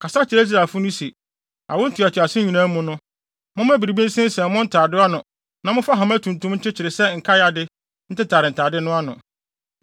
“Kasa kyerɛ Israelfo no se: Awo ntoatoaso nyinaa mu no, momma biribi nsensɛn mo ntade ano na momfa hama tuntum nkyekyere sɛ nkae ade ntetare ntade no ano.